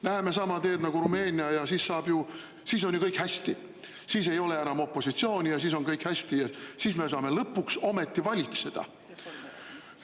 Läheme sama teed nagu Rumeenia, siis on ju kõik hästi, siis ei ole enam opositsiooni ja siis me saame lõpuks ometi valitseda!